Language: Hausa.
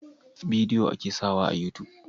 Bidiyo a ke sawa a yutub